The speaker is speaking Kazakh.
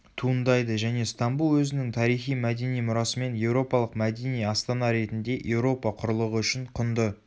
туындайды және стамбул өзінің тарихи-мәдени мұрасымен еуропалық мәдени астана ретінде еуропа құрлығы үшін құнды